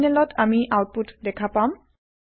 টাৰমিনেলত আমি আওতপুত দেখা পাম